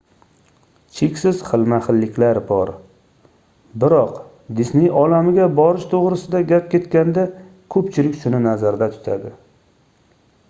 cheksiz xilma-xilliklar bor biroq disney olamiga borish toʻgʻrisida gap ketganda koʻpchilik shuni nazarda tutadi